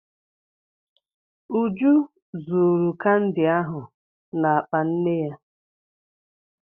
Uju zuuru kandi ahụ n'akpa nne ya.